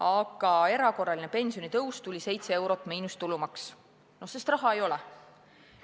Aga erakorraline pensionitõus on 7 eurot miinus tulumaks, sest raha ei ole.